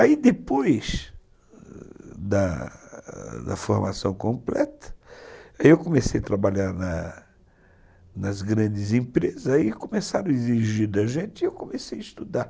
Aí depois da formação completa, eu comecei a trabalhar nas grandes empresas e começaram a exigir da gente e eu comecei a estudar.